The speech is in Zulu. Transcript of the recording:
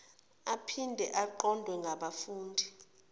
aphinde aqondwe ngabafundi